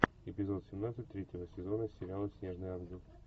эпизод семнадцать третьего сезона сериала снежный ангел